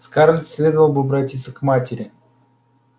скарлетт следовало бы обратиться к матери